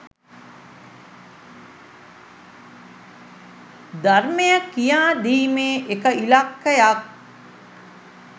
ධර්මය කියා දීමේ එක ඉලක්කයක්